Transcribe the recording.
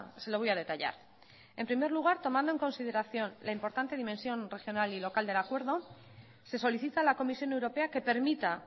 se lo voy a detallar en primer lugar tomando en consideración la importante dimensión regional y local del acuerdo se solicita a la comisión europea que permita